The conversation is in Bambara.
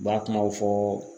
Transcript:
U b'a kumaw fɔ